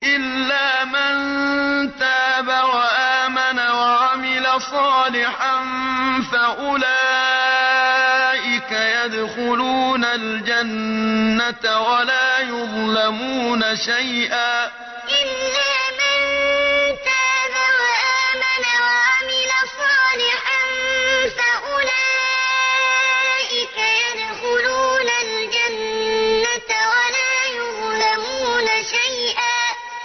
إِلَّا مَن تَابَ وَآمَنَ وَعَمِلَ صَالِحًا فَأُولَٰئِكَ يَدْخُلُونَ الْجَنَّةَ وَلَا يُظْلَمُونَ شَيْئًا إِلَّا مَن تَابَ وَآمَنَ وَعَمِلَ صَالِحًا فَأُولَٰئِكَ يَدْخُلُونَ الْجَنَّةَ وَلَا يُظْلَمُونَ شَيْئًا